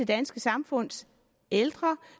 danske samfunds ældre